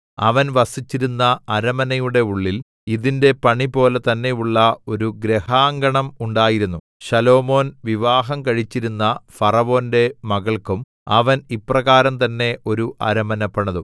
അവൻ വസിച്ചിരുന്ന അരമനയുടെ ഉള്ളിൽ ഇതിന്റെ പണിപോലെ തന്നെയുള്ള ഒരു ഗൃഹാങ്കണം ഉണ്ടായിരുന്നു ശലോമോൻ വിവാഹം കഴിച്ചിരുന്ന ഫറവോന്റെ മകൾക്കും അവൻ ഇപ്രകാരം തന്നെ ഒരു അരമന പണിതു